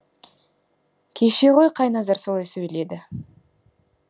кеше ғой қайназар солай сөйледі